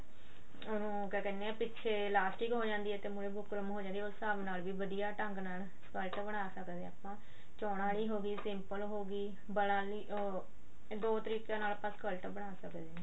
ਉਹਨੂੰ ਕਿਆ ਕਹਿੰਦੇ ਆ ਪਿੱਛੇ ਲਾਸਟਿਕ ਹੋ ਜਾਂਦੀ ਆ ਤੇ ਮੁਹਰੇ ਬੁਕਰਮ ਹੋ ਜਾਂਦੀ ਆ ਉਸ ਹਿਸਾਬ ਨਾਲ ਬੀ ਵਧੀਆ ਢੰਗ ਨਾਲ skirt ਬਣਾ ਸਕਦੇ ਆ ਆਪਾਂ ਚੋਣਾਂ ਆਲੀ ਹੋਗੀ simple ਹੋਗੀ ਵਲਾਂ ਆਲੀ ਉਹ ਦੋ ਤਰੀਕੇਆਂ ਦੇ ਨਾਲ ਆਪਾਂ skirt ਬਣਾ ਸਕਦੇ ਹਾਂ